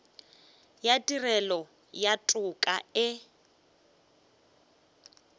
ya tirelo ya toka e